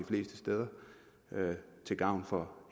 fleste steder til gavn for